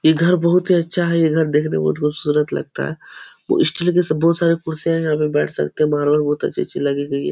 ये घर बहोत ही अच्छा है। ये घर देखने में बहोत खूबसूरत लगता है। वो स्टील की सब बहोत सारी कुर्सियां है यहाँ पर बैठ सकते हैं मारवल बहोत अच्छी अच्छी लगी गयी है।